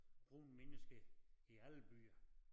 Brune mennesker i alle byer